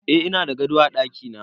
Eh ina da gado a dakina